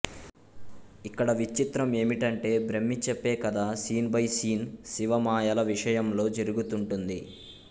ఇక్కడ విచిత్రం ఏమిటంటే బ్రహ్మి చేప్పే కథ సీన్ బై సీన్ శివ మాయల విషయంలో జరుగుతుంటుంది